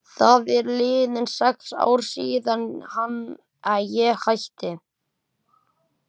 Það eru liðin sex ár síðan ég hætti.